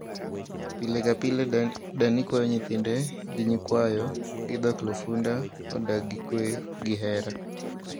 Pile ka pile dani kwayo nyithinde gi nyikwayo gi dhoklufunda odag gi kwe gi hera